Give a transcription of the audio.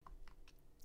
DR1